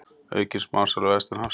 Aukin smásala vestanhafs